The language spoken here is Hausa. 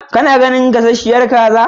Ka na ganin gasasshiyar kaza?